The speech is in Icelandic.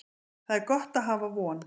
Það er gott að hafa von.